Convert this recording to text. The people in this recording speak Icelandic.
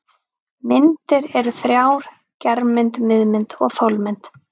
Myndir eru þrjár: germynd, miðmynd og þolmynd.